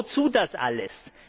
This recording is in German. Wozu das alles?